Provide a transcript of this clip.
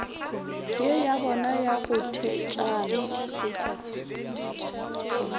ye yabona ya go thetšana